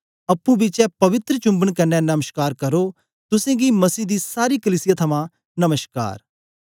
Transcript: अप्पुं बिचें पवित्र चुम्बन कन्ने नमश्कार करो तुसेंगी मसीह दी सारी कलीसिया थमां नमश्कार